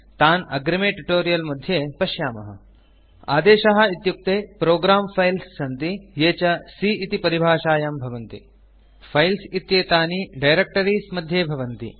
तान् अग्रिमे ट्यूटोरियल् मध्ये पश्यामः आदेशाः इत्युक्ते प्रोग्रं फाइल्स् सन्ति ये च C इति परिभाषायां भवन्ति फाइल्स् इत्येतानि डायरेक्टरीज़ मध्ये भवन्ति